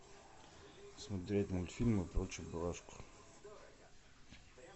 смотреть мультфильмы про чебурашку